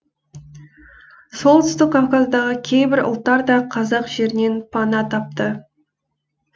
солтүстік кавказдағы кейбір ұлттар да қазақ жерінен пана тапты